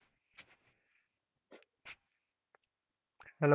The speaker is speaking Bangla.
Hello,